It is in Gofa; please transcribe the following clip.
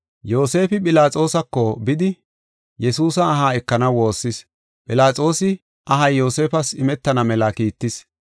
Yoosefi Philaxoosako bidi, Yesuusa aha ekanaw woossis. Philaxoosi ahay Yoosefas imetana mela kiittis.